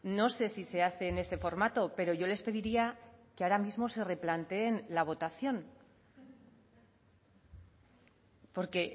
no sé si se hace en este formato pero yo les pediría que ahora mismo se replanteen la votación porque